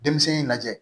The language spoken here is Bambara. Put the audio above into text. Denmisɛnnin lajɛ